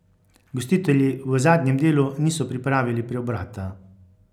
Gostitelji v zadnjem delu niso pripravili preobrata.